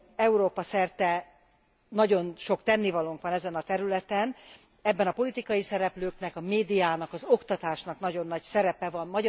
Európa szerte nagyon sok tennivalónk van ezen a területen, ebben a politikai szereplőknek, a médiának, az oktatásnak nagyon nagy szerepe van.